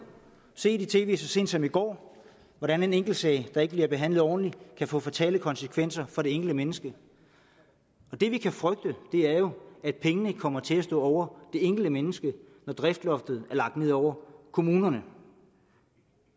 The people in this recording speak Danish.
se i tv så sent som i går hvordan en enkeltsag der ikke bliver behandlet ordentligt kan få fatale konsekvenser for det enkelte menneske og det vi kan frygte er jo at pengene kommer til at stå over det enkelte menneske når driftsloftet er lagt ned over kommunerne